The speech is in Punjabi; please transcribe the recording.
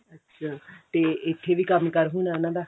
ਅੱਛਾ ਤੇ ਇੱਥੇ ਵੀ ਕੰਮ ਕਾਰ ਹੋਣਾ ਉਹਨਾਂ ਦਾ